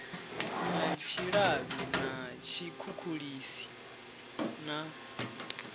na tshilavhi na tshikhukhulisi na